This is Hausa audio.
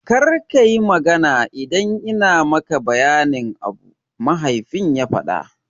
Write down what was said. Kar kayi magana idan ina maka bayanin abu, mahaifin ya faɗa.